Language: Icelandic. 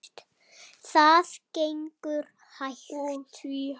Það gengur hægt.